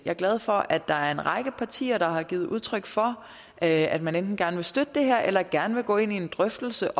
er glad for at der er en række partier der har givet udtryk for at at man enten gerne vil støtte det her eller gerne vil gå ind i en drøftelse